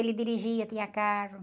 Ele dirigia, tinha carro.